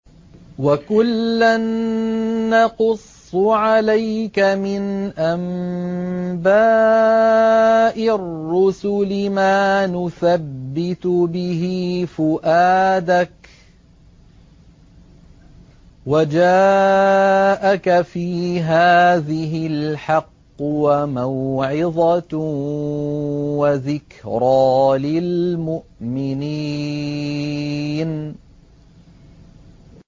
وَكُلًّا نَّقُصُّ عَلَيْكَ مِنْ أَنبَاءِ الرُّسُلِ مَا نُثَبِّتُ بِهِ فُؤَادَكَ ۚ وَجَاءَكَ فِي هَٰذِهِ الْحَقُّ وَمَوْعِظَةٌ وَذِكْرَىٰ لِلْمُؤْمِنِينَ